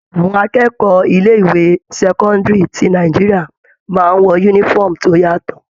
Àwọn akẹ́kọ̀ọ́ ilé ìwé sẹ́cọ́ndírì ti Nàìjíríà máa ń wọ uniform tó yàtọ̀.